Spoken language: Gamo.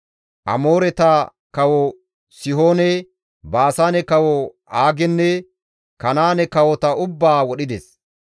Amooreta kawo Sihoone, Baasaane kawo Aagenne Kanaane kawota ubbaa wodhides.